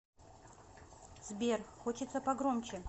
сбер хочется погромче